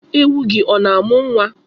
Ewu gị ọ na-amụ nwa?